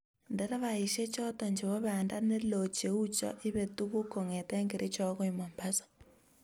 nderefaishek choto chebo banda ne loo cheu cho ibee tuguk kongete Kericho agoi mombasa